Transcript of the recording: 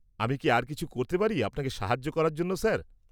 আমি কি আর কিছু করতে পারি আপনাকে সাহায্য করার জন্য স্যার?